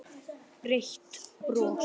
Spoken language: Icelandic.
Breitt bros.